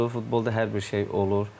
Futbolda hər bir şey olur.